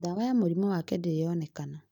Ndawa ya mũrimũ wake ndĩri yonekana